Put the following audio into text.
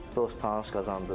Dost-tanış qazandım.